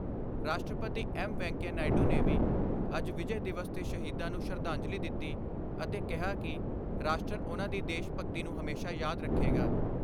ਰਾਸ਼ਟਰਪਤੀ ਐਮ ਵੈਂਕੇਆ ਨਾਇਡੂ ਨੇ ਵੀ ਅੱਜ ਵਿਜੈ ਦਿਵਸ ਤੇ ਸ਼ਹੀਦਾਂ ਨੂੰ ਸ਼ਰਧਾਂਜਲੀ ਦਿੱਤੀ ਅਤੇ ਕਿਹਾ ਕਿ ਰਾਸ਼ਟਰ ਉਨ੍ਹਾਂ ਦੀ ਦੇਸ਼ ਭਗਤੀ ਨੂੰ ਹਮੇਸ਼ਾ ਯਾਦ ਰੱਖੇਗਾ।